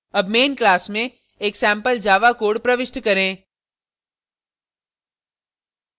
अब main class में एक सेम्पल java code प्रविष्ट करें